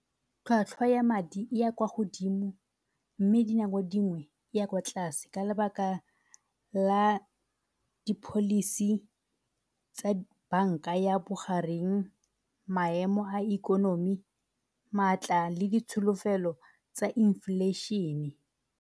Tlhwatlhwa ya madi e ya kwa godimo mme dinako dingwe e ya kwa tlase ka lebaka la di-policy tsa banka ya bogareng, maemo a ikonomi, maatla le ditsholofelo tsa inflation-e.